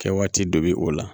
Kɛ waati dɔ bɛ o la